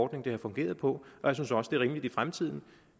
det har fungeret på og jeg synes også det rimeligt i fremtiden